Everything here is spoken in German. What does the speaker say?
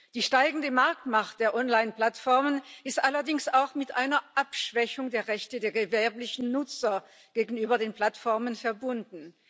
Die steigende Marktmacht der Onlineplattformen ist allerdings auch mit einer Abschwächung der Rechte der gewerblichen Nutzer gegenüber den Plattformen verbunden.